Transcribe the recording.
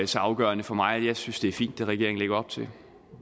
så afgørende for mig jeg synes det er fint hvad regeringen lægger op til